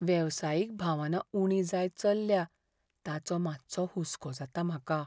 वेवसायीक भावना उणी जायत चल्ल्या ताचो मातसो हुसको जाता म्हाका.